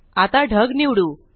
आता ढग निवडू